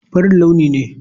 Farin launi ne.